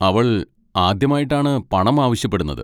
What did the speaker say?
അവൾ ആദ്യമായിട്ടാണ് പണം ആവശ്യപ്പെടുന്നത്.